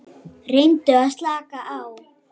Reyndu að slaka á.